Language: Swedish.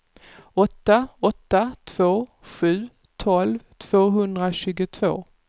åtta åtta två sju tolv tvåhundratjugotvå